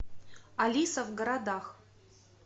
алиса в городах